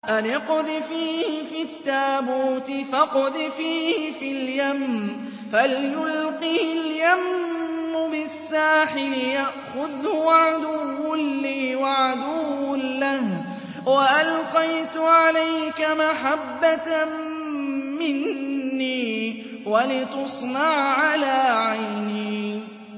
أَنِ اقْذِفِيهِ فِي التَّابُوتِ فَاقْذِفِيهِ فِي الْيَمِّ فَلْيُلْقِهِ الْيَمُّ بِالسَّاحِلِ يَأْخُذْهُ عَدُوٌّ لِّي وَعَدُوٌّ لَّهُ ۚ وَأَلْقَيْتُ عَلَيْكَ مَحَبَّةً مِّنِّي وَلِتُصْنَعَ عَلَىٰ عَيْنِي